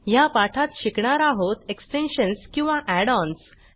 ह्या पाठात शिकणार आहोत एक्सटेन्शन्स किंवा add ओएनएस